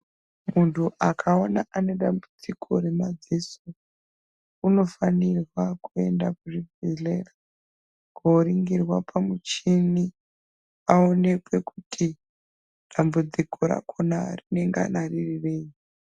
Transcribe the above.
Muntu akaona aine dambudziko remadziso unofanirwa kuenda kuzvibhedhlera koringirwa pamuchini aonekwe kuti dambudziko rakona rinonga riri rei.